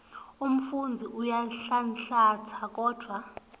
umfundzi uyanhlanhlatsa kodvwa